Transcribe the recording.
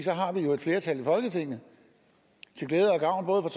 har vi et flertal i folketinget til glæde og gavn